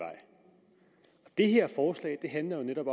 det her forslag handler jo netop